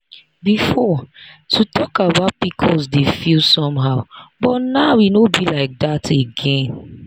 before to talk about pcos dey feel somehow but now e no be like that again.